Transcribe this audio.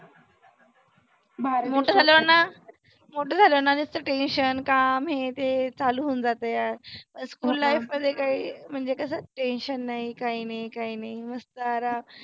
मोठ झालोना मोठ झालोना नुसत tension काम हे ते चालू होऊन जातं यार. होणं school life मध्ये काही म्हणजे कसं tension नाही काही नाही काही नाही मस्त आराम.